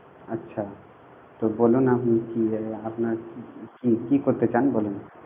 আচ্ছা তো বলুন আপনি কি এ আপনার কি কি করতে চান বলুন?